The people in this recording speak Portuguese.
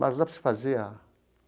Mas dá para você fazer a.